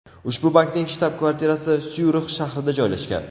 Ushbu bankning shtab-kvartirasi Syurix shahrida joylashgan.